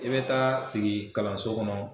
E be taa sigi kalanso kɔnɔ